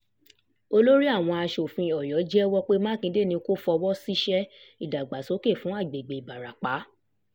olórí àwọn asòfin um ọyọ́ jẹ́wọ́ mákindé ni kò fọwọ́ sí iṣẹ́ um ìdàgbàsókè fún agbègbè ìbarapá